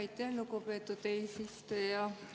Aitäh, lugupeetud eesistuja!